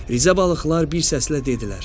Rizə balıqlar bir səslə dedilər: